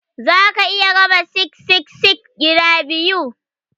Za ka iya raba 666 gida biyu.